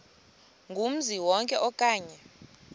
kumzi wonke okanye